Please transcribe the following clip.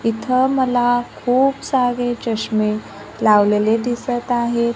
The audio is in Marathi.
इथं मला खूप सारे चष्मे लावलेले दिसत आहे.